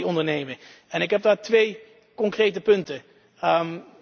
We moeten actie ondernemen en ik heb daar twee concrete voorstellen.